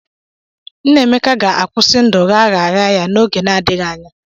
Nnameka ga-akwụsị ndụ gha gha ya n'oge na-adịghị anya.